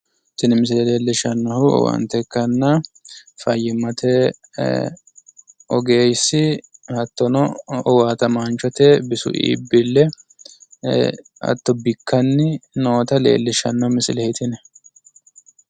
Tini misile leellishshannohu owaante ikkanna fayyimmate ogeessi hattono owaatamaanchote hatto bikkanni nooyta leellishshanno misileeti yinayi.